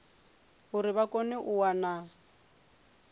uri vha kone u wana